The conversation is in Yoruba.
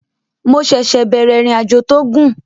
Mo ṣẹ̀ṣẹ̀ bẹ̀rẹ̀ ìrìnàjò tó gùn